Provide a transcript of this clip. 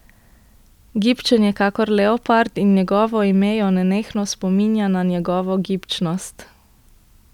Gibčen je kakor leopard, in njegovo ime jo nenehno spominja na njegovo gibčnost.